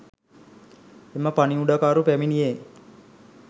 එම පණිවුඩකරු පැමිණියේ